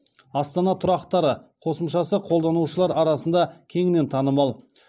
астана тұрақтары қосымшасы қолданушылар арасында кеңінен танымал